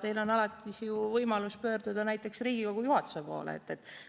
Teil on alati võimalus pöörduda näiteks Riigikogu juhatuse poole,